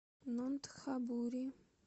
нонтхабури